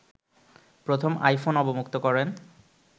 প্রথম আইফোন অবমুক্ত করেন